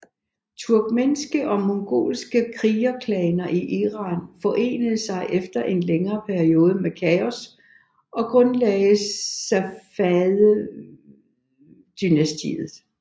Turkmenske og mongolske krigerklaner i Iran forenede sig efter en længere periode med kaos og grundlagde Safavidedynastiet